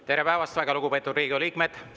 Tere päevast, väga lugupeetud Riigikogu liikmed!